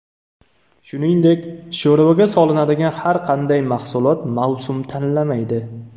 Shuningdek, sho‘rvaga solinadigan har qanday mahsulot mavsum tanlamaydi.